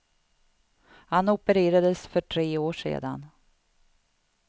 Han opererades för tre år sedan.